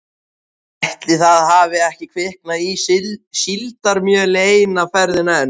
Ætli það hafi ekki kviknað í síldarmjöli eina ferðina enn